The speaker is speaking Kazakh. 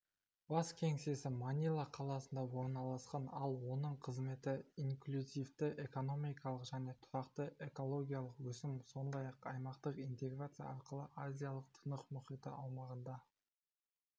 бас кеңсесі манила қаласында орналасқан ал оның қызметі инклюзивті экономикалық және тұрақты экологиялық өсім сондай-ақ аймақтық интеграция арқылы азия-тынық мұхиты аумағында